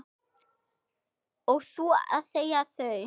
Og þú að segja þau.